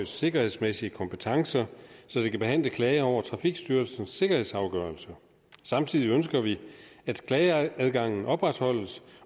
sikkerhedsmæssige kompetencer så det kan behandle klager over trafikstyrelsens sikkerhedsafgørelser samtidig ønsker vi at klageadgangen opretholdes